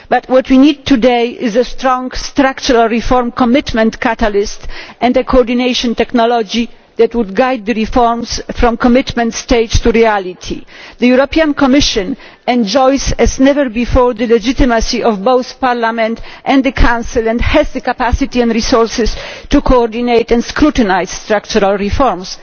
But what we need today is a strong structural reform commitment catalyst and coordination technology that would guide the reforms from the commitment stage to reality. The European Commission enjoys as never before the legitimacy of both Parliament and the Council, and has the capacity and resources to coordinate and scrutinise structural reforms.